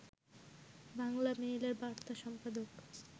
বাংলামেইলের বার্তা সম্পাদক